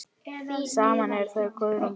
Saman eru þau Guðrún Birna.